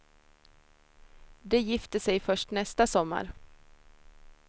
De gifter sig först nästa sommar.